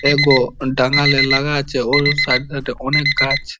এগো টানেল -এ লাগা আছে ওর সাইড -এ সাইড -এ অনেক গাছ।